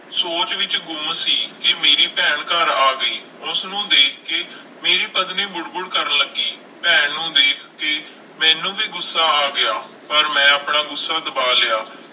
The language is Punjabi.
ਸੋਚ ਵਿੱਚ ਗੁੰਮ ਸੀ ਕਿ ਮੇਰੀ ਭੈਣ ਘਰ ਆ ਗਈ, ਉਸਨੂੰ ਦੇਖ ਕੇ ਮੇਰੀ ਪਤਨੀ ਬੁੜਬੁੜ ਕਰਨ ਲੱਗੀ, ਭੈਣ ਨੂੰ ਦੇਖ ਕੇ ਮੈਨੂੰ ਵੀ ਗੁੱਸਾ ਆ ਗਿਆ, ਪਰ ਮੈਂ ਆਪਣਾ ਗੁੱਸਾ ਦਬਾ ਲਿਆ।